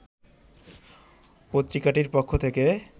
পত্রিকাটির পক্ষ থেকে